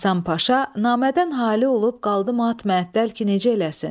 Həsən Paşa namədən halı olub qaldı mat-məəttəl ki, necə eləsin.